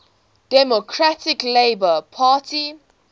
democratic labour party